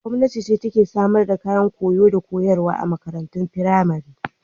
Gwamnati ce take samar da kayan koyo da koyarwa a makarantun firamari.